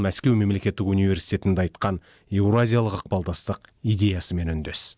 мәскеу мемлекеттік университетінде айтқан еуразиялық ықпалдастық идеясымен үндес